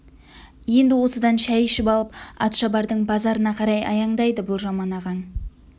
енді осыдан шәй ішіп алып атшабардың базарына қарай аяңдайды бұл жаман ағаң